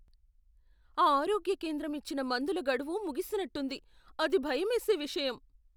ఆ ఆరోగ్య కేంద్రం ఇచ్చిన మందుల గడువు ముగిసినట్టుంది, అది భయమేసే విషయం.